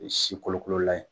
Sikolokolola ye.